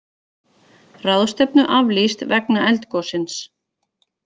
Ráðstefnu aflýst vegna eldgossins